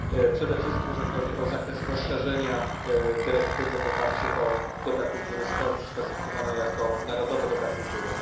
Przede wszystkim jeśli chodzi o zakres rozszerzenia dyrektywy w oparciu o dobra kultury sklasyfikowane jako narodowe dobra kultury.